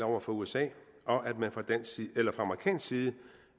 over for usa og at man fra amerikansk side